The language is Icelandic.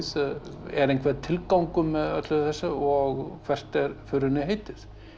er einhver tilgangur með öllu þessu og hvert er förinni heitið